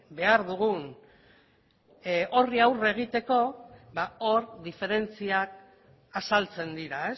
behar dugun horri aurre egiteko hor diferentziak azaltzen dira